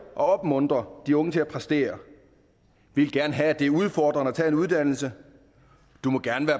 og opmuntre de unge til at præstere vi vil gerne have at det er udfordrende at tage en uddannelse du må gerne